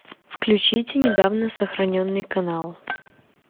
включите недавно сохраненный канал